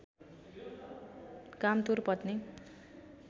कामतुर पत्नी